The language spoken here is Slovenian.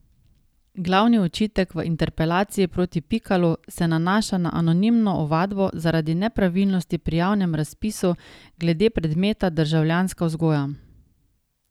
Glavni očitek v interpelaciji proti Pikalu se nanaša na anonimno ovadbo zaradi nepravilnosti pri javnem razpisu glede predmeta državljanska vzgoja.